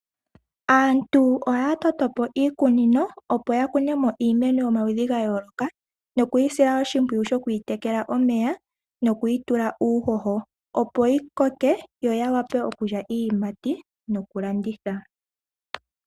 Aantu oya totopo iikunino opo yakunemo iimeno yomaludhi gayooloka, nokuyisila oshimpwiyu sho kwiitekela omeya noku yitula uuhoho opo yi koke yo yavule okulya iiyimati nokulanditha.